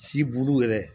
Si bulu yɛrɛ